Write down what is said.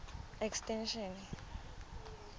extension